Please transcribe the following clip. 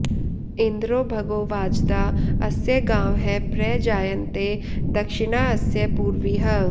इन्द्रो॒ भगो॑ वाज॒दा अ॑स्य॒ गावः॒ प्र जा॑यन्ते॒ दक्षि॑णा अस्य पू॒र्वीः